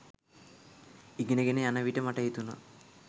ඉගෙන ගෙන යන විට මට හිතුණා